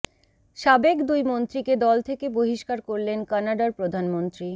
সাবেক দুই মন্ত্রীকে দল থেকে বহিষ্কার করলেন কানাডার প্রধানমন্ত্রী